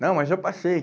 Não, mas eu passei.